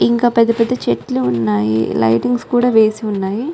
ఇంకా పెద్ద పెద్ద చెట్లు ఉన్నాయి లైటింగ్ కూడా వేసి ఉన్నాయి.